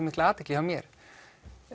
mikla athygli hjá mér